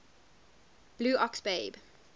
blue ox babe